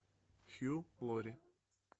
хью лори